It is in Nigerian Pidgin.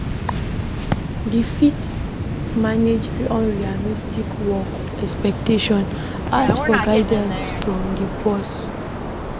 To fit manage unrealistic work expectations, ask for guidance from di boss